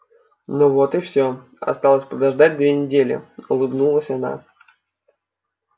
ну вот и всё осталось подождать две недели улыбнулась она